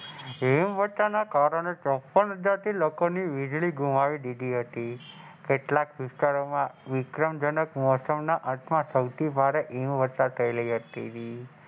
હિમવર્ષા ના કારણે ચોપ્પન હજાર લોકો ની વીજળી ઘુમાવી દીધી હતી કેટલાક વિસ્તારોમાં વિક્રમજનક મૌસમો માં સૌથી વધારે હિમવર્ષા થયેલી.